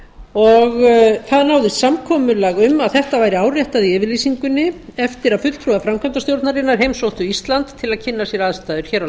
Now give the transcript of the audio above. og það náðist samkomulag um að þetta væri áréttað í yfirlýsingunni eftir að fulltrúi framkvæmdastjórnarinnar heimsótti ísland til að kynna sér aðstæður hér á